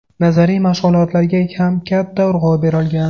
Nazariy mashg‘ulotlarga ham katta urg‘u berilgan.